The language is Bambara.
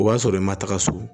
O b'a sɔrɔ i ma taga so